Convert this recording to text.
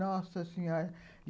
Nossa Senhora!